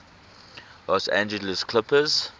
los angeles clippers